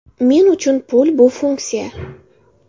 Men uchun pul bu funksiya.